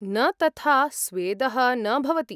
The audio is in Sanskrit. न तथा स्वेदः न भवति।